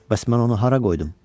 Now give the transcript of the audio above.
Bəs mən onu hara qoydum?